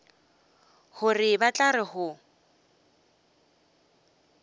gore ba tla re go